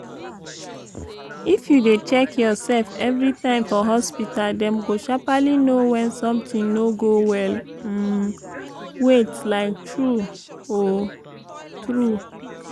if you dey check your sef everi time for hospita dem go sharperly know wen some tin no go well um wiat like tru um tru